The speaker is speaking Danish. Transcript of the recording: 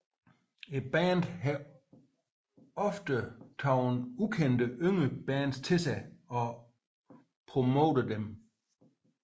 Bandet har ofte taget ukendte yngre bands til sig og promoveret dem